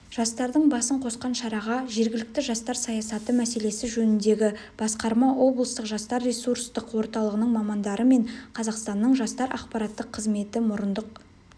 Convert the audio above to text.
жастардың басын қосқан шараға жергілікті жастар саясаты мәселесі жөніндегі басқарма облыстық жастар ресурстық орталығының мамандары мен қазақстанның жастар ақпараттық қызметі мұрындық